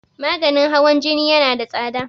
maganin hawan Jini yana da tsada